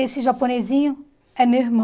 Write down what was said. Esse japonesinho é meu irmão.